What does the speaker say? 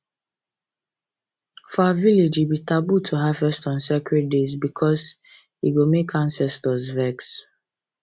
for our village e be taboo to harvest on sacred days because e go make ancestors vex